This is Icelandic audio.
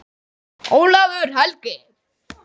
Ólafur Helgi.